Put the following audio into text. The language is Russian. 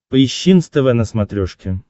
поищи нств на смотрешке